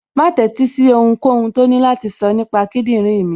Má tẹ́sí sí ohunkóhun tó ní láti sọ nípa kíndìnrín mi